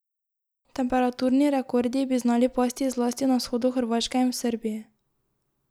Temperaturni rekordi bi znali pasti zlasti na vzhodu Hrvaške in v Srbiji.